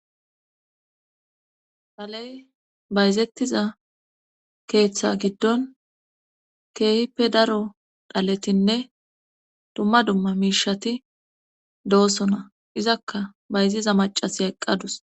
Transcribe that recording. Thaley bayzettiza keeththa giddon keehippe daro dhaletinne dumma dumma miishati doosona izakka bayziza macase eqqadus.